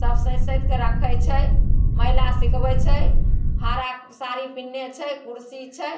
सब सहित-सहित के रखइ छई महिला सिखवइ छई। हरा साड़ी पेहेनले छे कुर्सी छे